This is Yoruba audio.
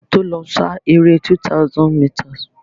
A má tó lọ sá eré 200 mításìì.